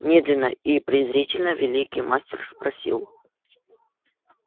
медленно и презрительно великий мастер спросил